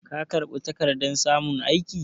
Ka karɓi takardar samun aiki?